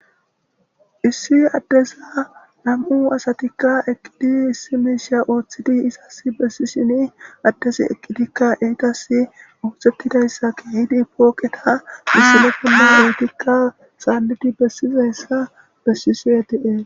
Issi adezikka nam''u asatikka eqqidi issi mishsha oththidi izasi besishshenn adezzi eqqiddkka etas oththetidayissa kehidi etas missile bolla etikka saliddi besizayissa besishshe de'ees.